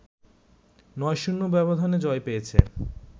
৯-০ ব্যবধানে জয় পেয়েছে